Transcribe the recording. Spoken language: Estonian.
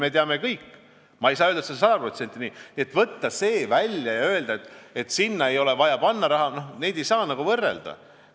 Ma ei saa öelda, et see on olnud sada protsenti nii, aga võtta see siit välja ja öelda, et sinna ei ole vaja raha panna – neid asju ei saa nagu võrrelda.